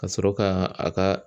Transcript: Kasɔrɔ ka a ka